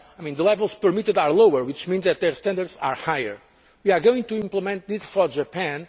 The levels permitted are lower, which means that their standards are higher. We are going to implement this for Japan.